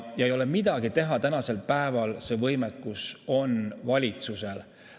Ja ei ole midagi teha, tänasel päeval see võimekus on valitsusel.